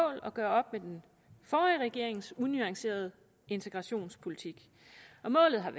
at gøre op med den forrige regerings unuancerede integrationspolitik målet har